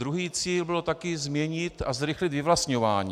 Druhý cíl byl také změnit a zrychlit vyvlastňování.